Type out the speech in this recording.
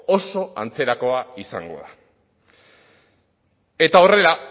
oso antzerakoa izango da eta horrela